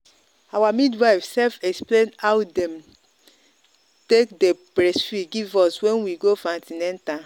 our midwife sef explain how them take day breastfeed give us when we go for an ten atal.